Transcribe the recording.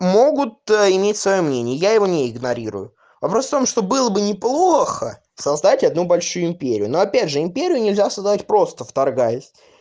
могут иметь своё мнение я его не игнорирую вопрос в том что было бы неплохо создать одну большую империю но опять же империю нельзя создавать просто вторгаясь